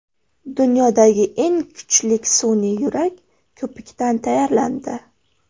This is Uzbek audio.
Dunyodagi eng kuchli sun’iy yurak ko‘pikdan tayyorlandi.